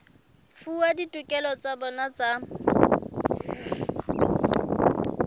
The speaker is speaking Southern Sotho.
fuwa ditokelo tsa bona tsa